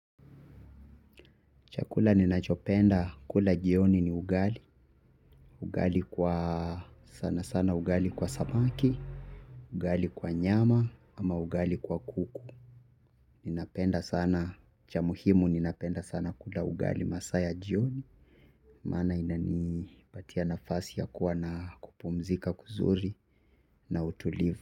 Chakula ninachopenda kula jioni ni ugali. Ugali kwa sana sana ugali kwa samaki. Ugali kwa nyama ama ugali kwa kuku. Ninapenda sana cha muhimu ninapenda sana kula ugali masaa ya jioni. Maana inanipatia nafasi ya kuwa na kupumzika kuzuri na utulivu.